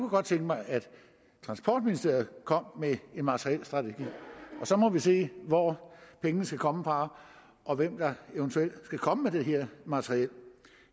godt tænke mig at transportministeriet kom med en materielstrategi og så må vi se hvor pengene skal komme fra og hvem der eventuelt skal komme med det her materiel